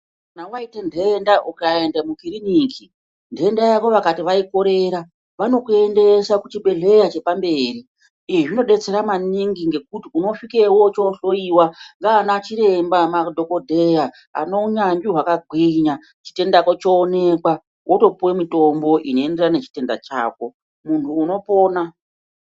Kana waite nhenda ukaende mukirinika nhenda yako vakati ai korera vanokuendesa kuchibhehlera chepamberi izvi zvinodetsera maningi ngokuti unosvikeyo wohloyiwa nanachiremba ,ngemadhokodheya ane unyanzvi wakagwinya chitenda chako choonekwa wotopuwe mutombo unoenderane nechitenda chako, munhu unopona.